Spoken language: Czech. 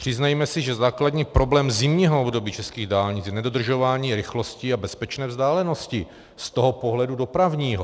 Přiznejme si, že základní problém zimního období českých dálnic je nedodržování rychlosti a bezpečné vzdálenosti z toho pohledu dopravního!